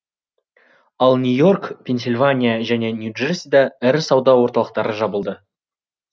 ал нью и орк пенсильвания және нью джерсиде ірі сауда орталықтары жабылды